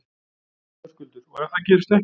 Höskuldur: Og ef það gerist ekki?